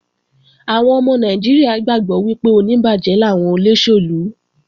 Àwọn ọmọ Nàìjíríà gbàgbọ́ wípé oníbàjẹ́ làwọn olóṣèlú